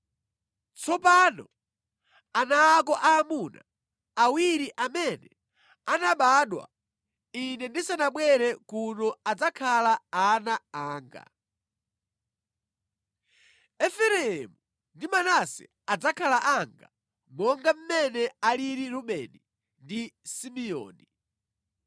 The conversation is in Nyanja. “Tsopano ana ako aamuna awiri amene anabadwa ine ndisanabwere kuno adzakhala ana anga. Efereimu ndi Manase adzakhala anga monga mmene alili Rubeni ndi Simeoni.